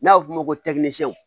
N'a bɛ f'o ma ko